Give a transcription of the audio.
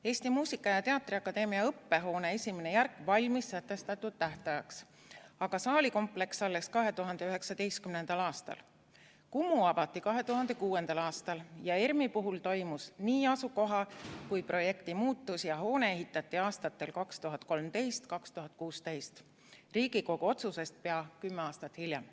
Eesti Muusika- ja Teatriakadeemia õppehoone esimene järk valmis sätestatud tähtajaks, aga saalikompleks alles 2019. aastal, Kumu avati 2006. aastal ja ERM‑i puhul toimus nii asukoha kui ka projekti muutus ja hoone ehitati aastatel 2013–2016, Riigikogu otsusest pea kümme aastat hiljem.